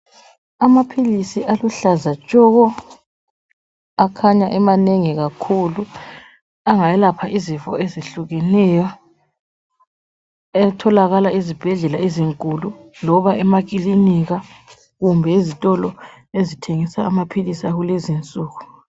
Amaphilisi aluhlaza tshoko akhanya emanengi kakhulu angayelapha izifo ezehlukeneyo atholakala ezibhedlela ezinkulu loba emakilinika kumbe ezitolo ezithengisa amaphilisi akulezinsuku.